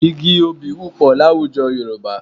Igi obì wọ́pọ̀ láwùjọ Yorùbá